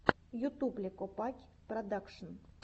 ютуб ле копакь продакшен